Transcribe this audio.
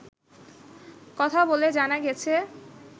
কথা বলে জানা গেছে